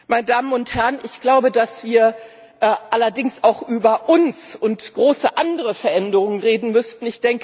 Meine Damen und Herren, ich glaube, dass wir allerdings auch über uns und große andere Veränderungen reden müssten.